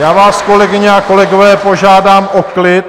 Já vás, kolegyně a kolegové, požádám o klid!